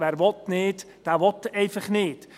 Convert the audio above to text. Wer nicht will, der will einfach nicht.